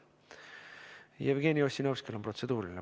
Jevgeni Ossinovskil on protseduuriline.